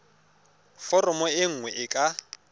foromo e nngwe e ka